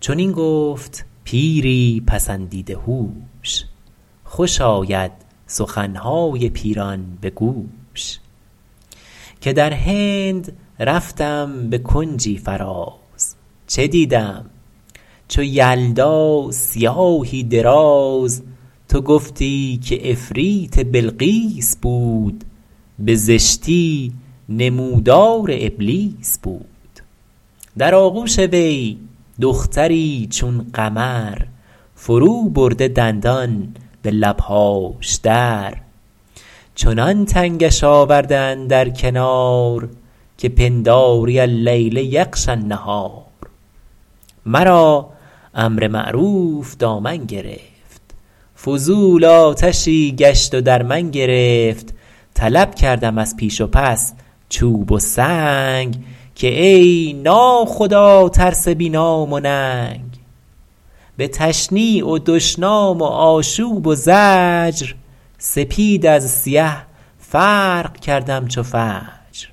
چنین گفت پیری پسندیده هوش خوش آید سخنهای پیران به گوش که در هند رفتم به کنجی فراز چه دیدم چو یلدا سیاهی دراز تو گفتی که عفریت بلقیس بود به زشتی نمودار ابلیس بود در آغوش وی دختری چون قمر فرو برده دندان به لبهاش در چنان تنگش آورده اندر کنار که پنداری اللیل یغشی النهار مرا امر معروف دامن گرفت فضول آتشی گشت و در من گرفت طلب کردم از پیش و پس چوب و سنگ که ای نا خدا ترس بی نام و ننگ به تشنیع و دشنام و آشوب و زجر سپید از سیه فرق کردم چو فجر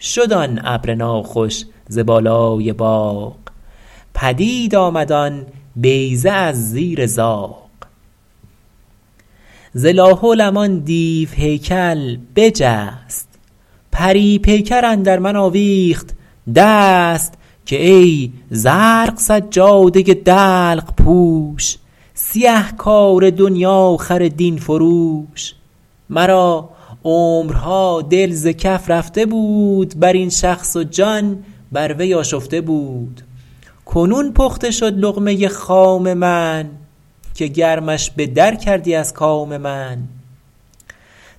شد آن ابر ناخوش ز بالای باغ پدید آمد آن بیضه از زیر زاغ ز لا حولم آن دیو هیکل بجست پری پیکر اندر من آویخت دست که ای زرق سجاده دلق پوش سیه کار دنیاخر دین فروش مرا عمرها دل ز کف رفته بود بر این شخص و جان بر وی آشفته بود کنون پخته شد لقمه خام من که گرمش به در کردی از کام من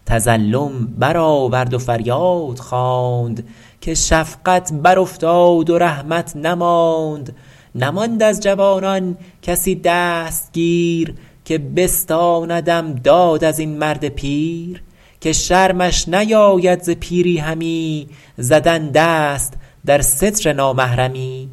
تظلم برآورد و فریاد خواند که شفقت بر افتاد و رحمت نماند نماند از جوانان کسی دستگیر که بستاندم داد از این مرد پیر که شرمش نیاید ز پیری همی زدن دست در ستر نامحرمی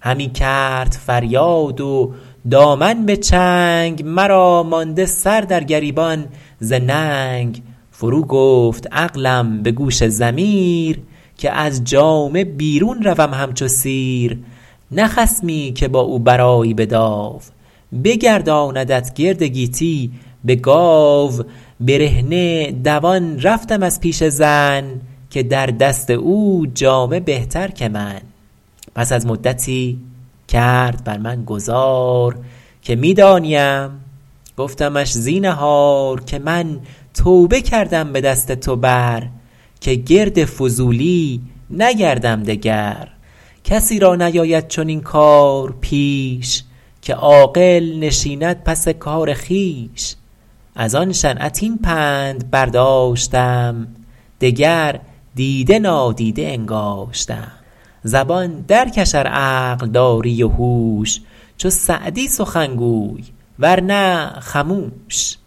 همی کرد فریاد و دامن به چنگ مرا مانده سر در گریبان ز ننگ فرو گفت عقلم به گوش ضمیر که از جامه بیرون روم همچو سیر نه خصمی که با او برآیی به داو بگرداندت گرد گیتی به گاو برهنه دوان رفتم از پیش زن که در دست او جامه بهتر که من پس از مدتی کرد بر من گذار که می دانیم گفتمش زینهار که من توبه کردم به دست تو بر که گرد فضولی نگردم دگر کسی را نیاید چنین کار پیش که عاقل نشیند پس کار خویش از آن شنعت این پند برداشتم دگر دیده نادیده انگاشتم زبان در کش ار عقل داری و هوش چو سعدی سخن گوی ور نه خموش